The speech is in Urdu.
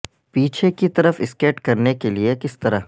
پیچھے کی طرف سکیٹ کرنے کے لئے کس طرح